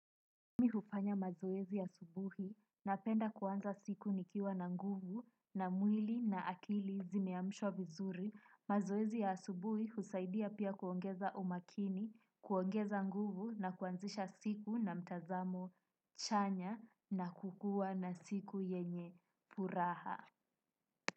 Mimi hufanya mazoezi asubuhi napenda kuanza siku nikiwa na nguvu na mwili na akili zimeamshwa vizuri. Mazoezi ya asubuhi husaidia pia kuongeza umakini, kuongeza nguvu na kuanzisha siku na mtazamo chanya na kukuwa na siku yenye furaha.